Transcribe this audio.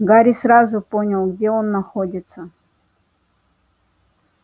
гарри сразу понял где он находится